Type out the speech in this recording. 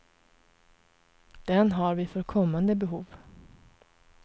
Den har vi för kommande behov.